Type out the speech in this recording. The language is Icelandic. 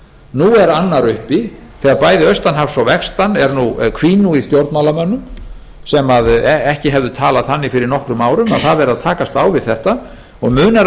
nú er annar uppi þegar bæði austan hafs og vestan hvín nú í stjórnmálamönnum sem ekki hefðu talað þannig fyrir nokkrum árum að það verði að takast á við þetta og munar